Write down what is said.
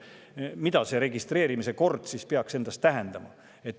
Mida see registreerimise kord peaks tähendama?